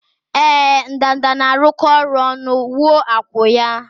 Ee, ndanda na-arụkọ ọrụ ọnụ wuo akwụ́ ha